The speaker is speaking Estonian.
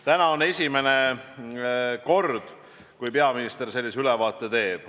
Täna on esimene kord, kui peaminister sellise ülevaate teeb.